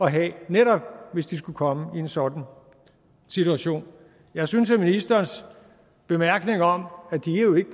at have netop hvis de skulle komme i en sådan situation jeg synes at ministerens bemærkning om at de jo ikke